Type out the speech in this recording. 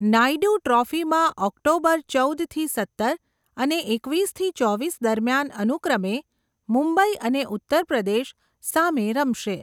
નાયડુ ટ્રોફીમાં ઓક્ટોબર ચૌદ થી સત્તર, અને એકવીસ થી ચોવીસ દરમિયાન અનુક્રમે, મુંબઇ અને ઉત્તર પ્રદેશ સામે રમશે.